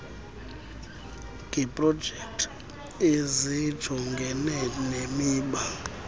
kweeprojekthi ezijongene nemiba